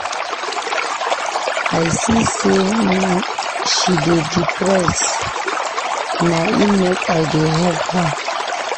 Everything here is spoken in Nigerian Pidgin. I see sey she dey depressed na im make I dey help her.